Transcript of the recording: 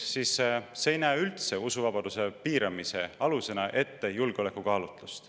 See ei näe usuvabaduse piiramise alusena üldse ette julgeolekukaalutlust.